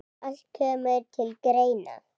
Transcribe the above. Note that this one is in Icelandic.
Allt kemur til greina.